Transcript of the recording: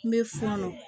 N bɛ fɔɔnɔ